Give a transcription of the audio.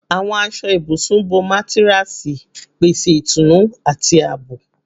Awọn aṣọ ibusun bo matiresi, pese itunu ati aabo